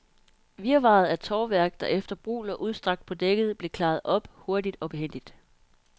Virvaret af tovværk, der efter brug lå udstrakt på dækket, blev klaret op, hurtigt og behændigt.